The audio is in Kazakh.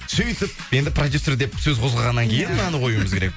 сөйтіп енді продюсер деп сөз қозғағаннан кейін енді мынаны қоюымыз керек